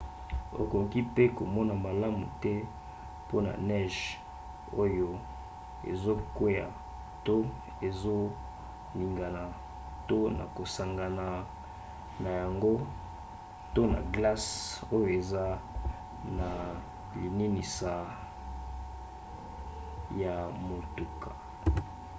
okoki mpe komona malamu te mpona neige oyo ezokwea to ezoningana to na kosangana na yango to na glace oyo eza na lininisa ya motuka